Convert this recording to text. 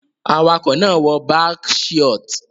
Awakọ̀ náà wọ balck shiort